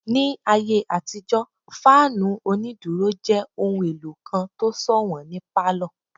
Ní ayé àtijó, fáànù onídúró jẹ́ ohun èlò kan tó sọ̀wọ́n ní pálọ̀